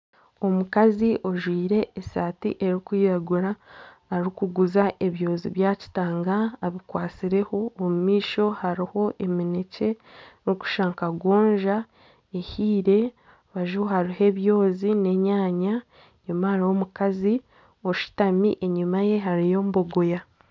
Omukazi ojwaire esaati erikwiragura arikuguza ebyozi bya kitanga abikwatsireho, omu maisho hariho eminekye erikushusha nka gonja ehiire. Aha rubaju hariho ebyozi n'enyanya enyima hariyo omukazi oshutami, enyima ye hariyo bogoya.